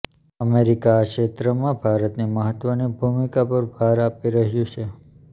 America આ ક્ષેત્રમાં ભારતની મહત્વની ભૂમિકા પર ભાર આપી રહ્યું છે